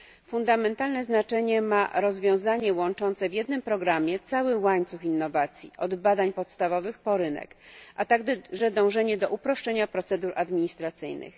Fundamentalne znaczenie ma rozwiązanie łączące w jednym programie cały łańcuch innowacji, od badań podstawowych po rynek, a także dążenie do uproszczenia procedur administracyjnych.